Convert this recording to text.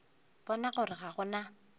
bona gore ga go na